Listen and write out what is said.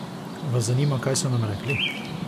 Vas zanima, kaj so nam rekli?